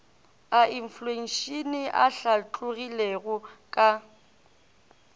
a infleišene a hlatlogilego ka